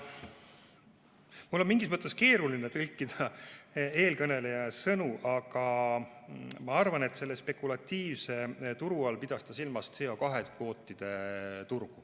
Mul on mingis mõttes keeruline tõlkida eelkõneleja sõnu, aga ma arvan, et selle spekulatiivse turu all pidas ta silmas CO2 kvootide turgu.